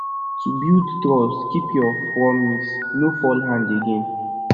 to bulid trust keep your promise no fall hand again